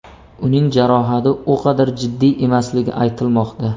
Uning jarohati u qadar jiddiy emasligi aytilmoqda.